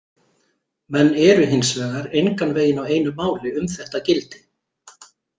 Menn eru hins vegar engan veginn á einu máli um þetta gildi.